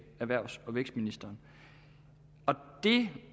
erhvervs og vækstministeren det